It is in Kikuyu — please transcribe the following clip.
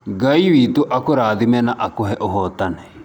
Ngai wĩ tũ akũrathime na akũhe ũhotanĩ